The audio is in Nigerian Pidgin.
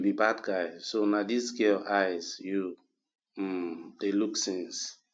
you be bad guy so na dis girl eyes you um dey look since